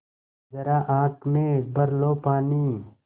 ज़रा आँख में भर लो पानी